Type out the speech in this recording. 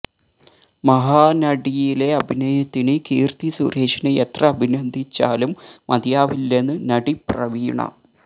മഹാനടിയിലെ അഭിനയത്തിന് കീർത്തി സുരേഷിനെ എത്ര അഭിനന്ദിച്ചാലും മതിയാവില്ലെന്ന് നടി പ്രവീണ